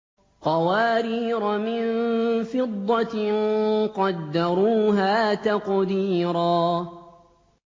قَوَارِيرَ مِن فِضَّةٍ قَدَّرُوهَا تَقْدِيرًا